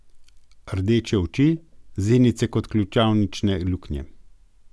Rdeče oči, zenice kot ključavnične luknje.